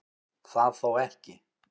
Það þó ekki